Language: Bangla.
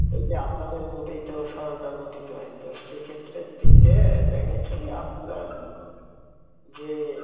এইযে আপনাদের vote এই তো সরকার গঠিত হয় তো সেইক্ষেত্রের দিক দিয়েই দেখা যাচ্ছে যে আপনারা যে